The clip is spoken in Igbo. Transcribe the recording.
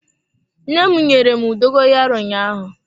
Nne m nyere m dogoyaro ụnyaahụ.